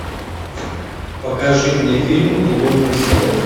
покажи мне фильм лунный свет